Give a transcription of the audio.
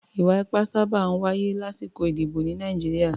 Ì̀wà-ipá sábà máa ń wáyé lásìkò ìdìbò ní Nàìjíríà.